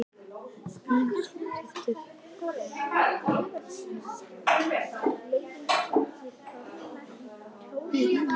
Birta Björnsdóttir: Myndirðu segja að ástandið væri alvarlegt?